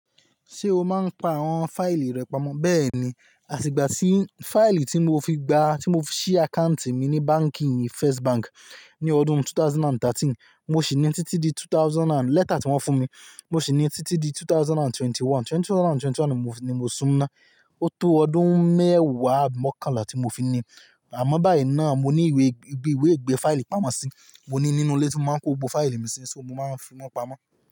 Ṣé o máa ń pa àwọn fáìlì rẹ pamọ́? Bẹ́ẹ̀ni, àti ìgbà tí fáìlì tí mo fi gba, tí mo fi sí àkáùntì mi ní báǹkì First Bank ní ọdún 2013, mo sì ní títí di two thousand and-- lẹ́tà tí wọ́n fún mi, mo sì ní títí di 2021. 2021 ni mo sún á. Ó tó ọdún mẹ́wàá abi mọ́kànlá tí mo fi ní. Àmọ́ báyìí náà mo ní ìwé, ibi ìwé ìgbé fáìlì pamọ́ sí i. Mo ní nínú ilé tí mo máa ń kó gbogbo fáìlì mi sí, ṣó mo máa ń fi wọ́n pamọ́.